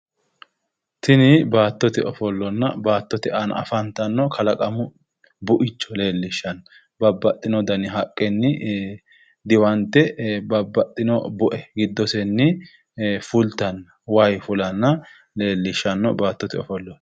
Tini baattote ofollonna baattote aana afantanno kalaqamu buicho leellishshanno. Babbaxxinno dani haqqenni diwante babbaxxino bue giddosenni fultanno. Wayi fulanna leellishshanno baattote ofolloti.